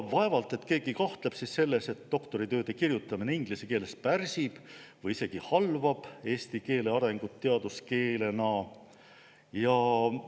Vaevalt et keegi kahtleb selles, et doktoritööde kirjutamine inglise keeles pärsib eesti keele arengut teaduskeelena või isegi halvab selle.